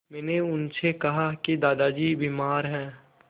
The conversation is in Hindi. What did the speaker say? मैंने उनसे कहा कि दादाजी बीमार हैं